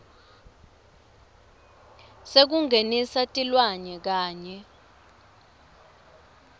sekungenisa tilwane kanye